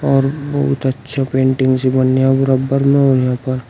और बहुत अच्छा पेंटिंग से बनया बरबर में और यहां पर--